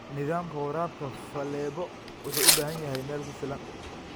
Nidaamka waraabka faleebo wuxuu u baahan yahay meel ku filan.